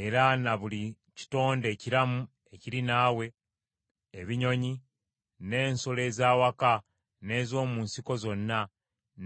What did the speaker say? era na buli kitonde ekiramu ekiri naawe: ebinyonyi, n’ensolo ez’awaka n’ez’omu nsiko zonna,